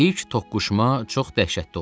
İlk toqquşma çox dəhşətli oldu.